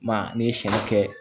Ma ne ye sɛn kɛ